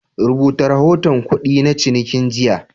Rubuta rahoton kudi na cininki jiya.